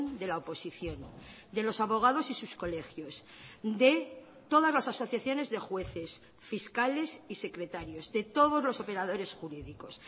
de la oposición de los abogados y sus colegios de todas las asociaciones de jueces fiscales y secretarios de todos los operadores jurídicos